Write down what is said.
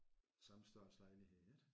Samme størrelse lejlighed ik